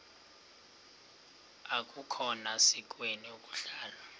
akukhona sikweni ukuhlala